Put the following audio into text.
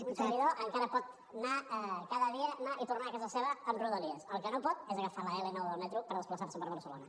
un servidor encara pot anar cada dia anar i tornar a casa seva amb rodalies el que no pot és agafar l’l9 del metro per desplaçar se per barcelona